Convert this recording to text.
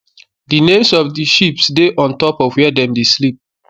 the names of the sheeps dey on top of where dem dey sleep